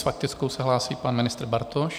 S faktickou se hlásí pan ministr Bartoš.